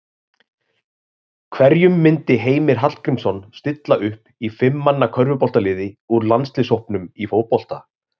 Hverjum myndi Heimir Hallgrímsson stilla upp í fimm manna körfuboltaliði úr landsliðshópnum í fótbolta?